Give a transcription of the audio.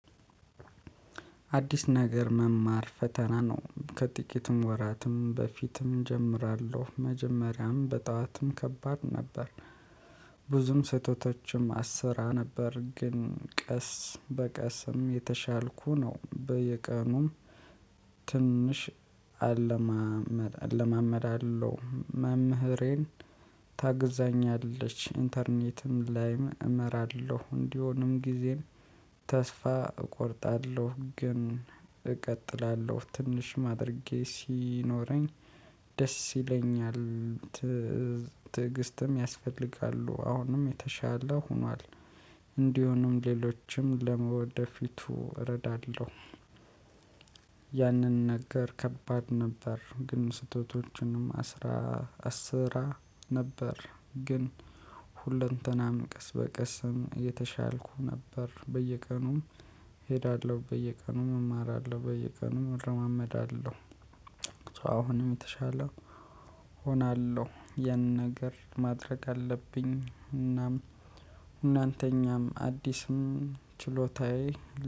አዲስ ነገር መማር ፈተና ነው ከጥቂትም ወራትም በፊትም እጀምራለሁ መጀመሪያም በጠዋትም ከባድ ነበር። ብዙም ስህተቶችም አሰራ ነበር ግን ቀስ በቀስም የተሻልኩ ነው። በየቀኑም ትንሽ አለማመድ አለማመዳለው መምህሬን ታግዛኛለች ኢንተርኔትም ላይም እመራለሁ። እንዲሆንም ጊዜም ተስፋ እቆርጣለሁ ግን እቀጥላለሁ ትንሽ ማድረጌ ሲኖረኝ ደስ ይለኛል። ትዕግስትም ያስፈልጋሉ አሁንም የተሻለ ሆኗል። እንዲሆንም ሌሎችም ለውደፊቱ እረዳለሁ። ያንን ነገር ከባድ ነበር። ግን ስህተቶችንም አስራ አስራ ነበር ግን ሁለንተናም ቀስ በቀስም የተሻልኩ ነበር። በየቀኑም እሄዳለሁ በየቀኑም እማራለሁ በየቀኑ እረማመዳለሁ። አሁንም የተሻለው እሆናለሁ። ያን ነገር ማድረግ አለብኝ እናም እናንተኛም አዲስም ችሎታዬ